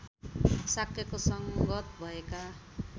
शाक्यको संगत भएका